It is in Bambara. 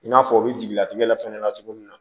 I n'a fɔ u bɛ jiginnatigɛ la fɛnɛ na cogo min na